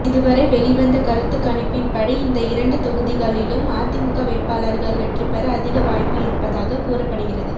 இதுவரை வெளிவந்த கருத்துக் கணிப்பின்படி இந்த இரண்டு தொகுதிகளிலும் அதிமுக வேட்பாளர்கள் வெற்றிபெற அதிக வாய்ப்பு இருப்பதாக கூறப்படுகிறது